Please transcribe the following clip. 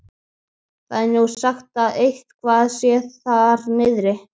Það er nú sagt að eitthvað sé þar niðri.